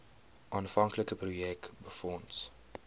aanvanklike projek befonds